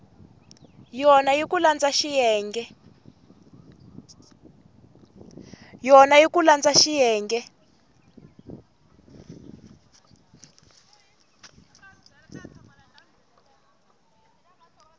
yona hi ku landza xiyenge